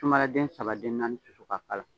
Sumala den saba den naani susu k'a k'ala